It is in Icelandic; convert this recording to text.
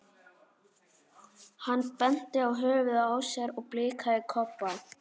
Hann benti á höfuðið á sér og blikkaði Kobba.